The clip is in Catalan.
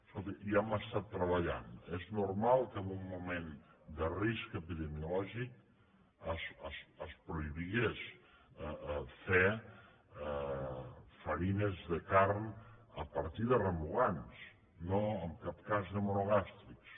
escolti hi hem estat treballant és normal que en un moment de risc epidemiològic es prohibís fer farines de carn a partir de remugants no en cap cas de monogàstrics